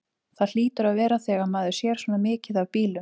Það hlýtur að vera þegar maður sér svona mikið af bílum.